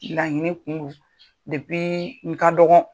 Laɲini kun do n ka dɔgɔn.